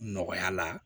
Nɔgɔya la